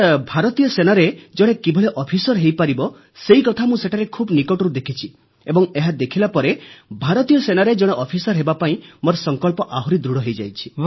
sir ଭାରତୀୟ ସେନାରେ ଜଣେ କିଭଳି ଅଫିସର ହୋଇପାରିବ ସେକଥା ମୁଁ ସେଠାରେ ଖୁବ୍ ନିକଟରୁ ଦେଖିଛି ଏବଂ ଏହା ଦେଖିଲା ପରେ ଭାରତୀୟ ସେନାରେ ଜଣେ ଅଫିସର ହେବାପାଇଁ ମୋର ସଂକଳ୍ପ ଆହୁରି ଦୃଢ଼ ହୋଇଯାଇଛି